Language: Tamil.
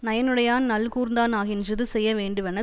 நயனுடையான் நல்கூர்ந்தா னாகின்றது செய்ய வேண்டுவன